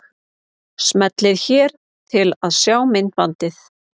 Smellið hér til að sjá myndbandið.